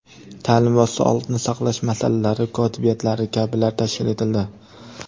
ta’lim va sog‘liqni saqlash masalalari kotibiyatlari kabilar tashkil etildi.